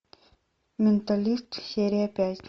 менталист серия пять